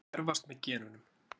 þeir erfast með genunum